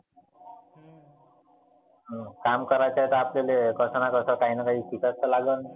काम करायच आहे तर आपल्याले कसंना कसं काहीना काही करावा तर लालगेल.